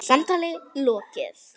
Samtali lokið.